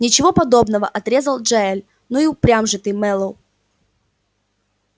ничего подобного отрезал джаэль ну и упрям же ты мэллоу